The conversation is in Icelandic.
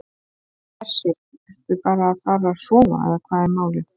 Hersir: Ertu bara að fara að sofa eða hvað er málið?